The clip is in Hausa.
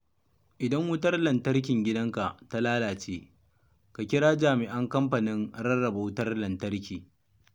Idan wutar lantarkin gidanka ta lalace, ka kira jami'an Kamfanin Rarraba Wutar Lantarki.